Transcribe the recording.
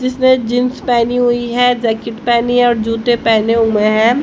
जिसमें जींस पहनी हुई है जैकेट पहनी और जूते पहने हुए हैं।